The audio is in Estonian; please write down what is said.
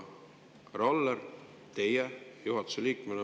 Härra Aller, teie olete juhatuse liige.